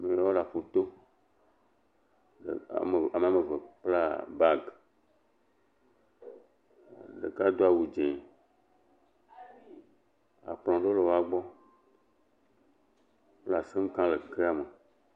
Amewo le aƒuto. Ame eve kpla bagi. Ɖeka do awu dzɛ̃. Kplɔ̃ aɖewo le wogbɔ. Wole asem kam le kea me.